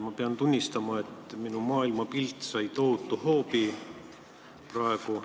Ma pean tunnistama, et minu maailmapilt sai tohutu hoobi praegu.